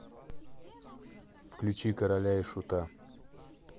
включи короля и шута